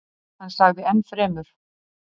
Hann sagði ennfremur: